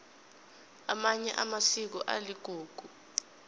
amanye amasiko aligugu